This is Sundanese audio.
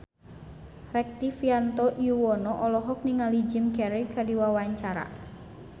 Rektivianto Yoewono olohok ningali Jim Carey keur diwawancara